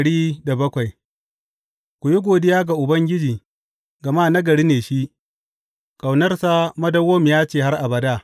Ku yi godiya ga Ubangiji, gama nagari ne shi; ƙaunarsa madawwamiya ce har abada.